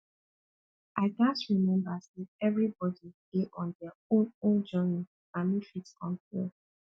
i gats remember say everybody dey on dia own own journey i no fit compare